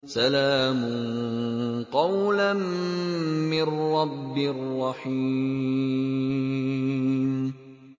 سَلَامٌ قَوْلًا مِّن رَّبٍّ رَّحِيمٍ